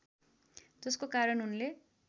जसको कारण उनले